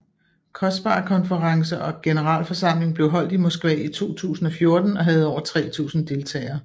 COSPAR konference og generalforsamling blev holdt i Moskva i 2014 og havde over 3000 deltagere